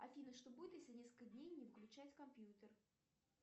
афина что будет если несколько дней не выключать компьютер